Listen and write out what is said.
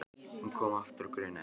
Hún kom aftur og grunaði ekkert.